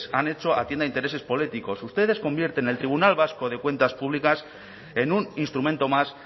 han hecho atienda a intereses políticos ustedes convierten el tribunal vasco de cuentas públicas en un instrumento más